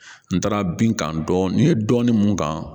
N taara binkani dɔɔni ye dɔɔni mun kan